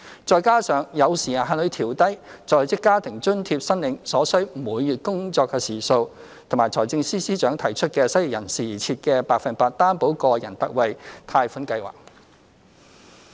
再加上有時限地調低在職家庭津貼申領所需每月工作時數，以及財政司司長提出為失業人士而設的百分百擔保個人特惠貸款計劃。